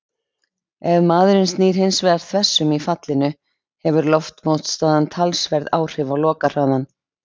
Ef maðurinn snýr hins vegar þversum í fallinu hefur loftmótstaðan talsverð áhrif á lokahraðann.